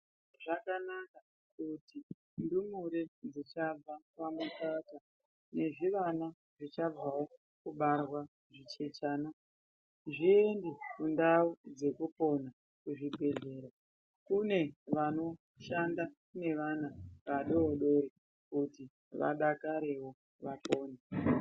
Zvakanaka kuti ndumure dzichangobva pamukaka nezvivana zvichangobva kubarwa zvichechana zviende kundau dzekupona. Kuchibhedhleya kune vanoshanda nevana vadoodori kuti vadakarewo. .